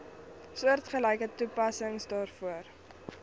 soortgelyke toepassing daarvoor